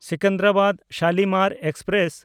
ᱥᱮᱠᱮᱱᱫᱨᱟᱵᱟᱫ–ᱥᱟᱞᱤᱢᱟᱨ express